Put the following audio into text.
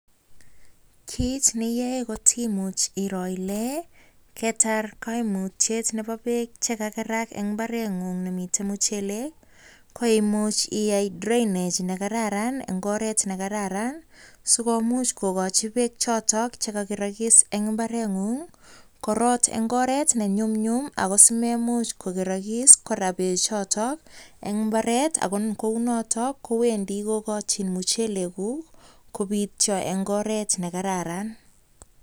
Kit ne iyoe kot imuch iroo ile kitar koimutyet nebo beek che kagerak en mbareng'ung nemiten muchelek, koimuch iyae drainage ne kararan en ngoret ne kararan si komuch kogochi beek choto chekakerokis en mbareng'ung korot ne ngoret ne nyumnyum. Ago si meimuch kokerokis kora beechoto en mbaret ago kounoto kowendi kogochin muchelekuk kobityo en ngoret ne kararan.